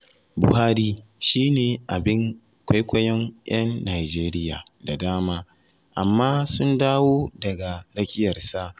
Buhari shi ne abin kwaikwaiyon 'yan Nijeriya da dama, amma sun dawo daga rakiyarsa.